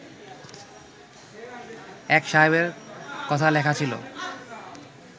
এক সাহেবের কথা লেখা ছিল